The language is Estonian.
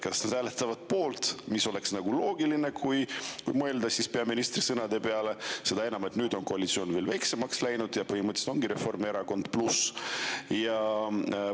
Kas nad hääletavad poolt, mis oleks nagu loogiline, kui mõelda peaministri sõnade peale, seda enam, et nüüd on koalitsioon veel väiksemaks ja põhimõtteliselt ongi Reformierakond pluss?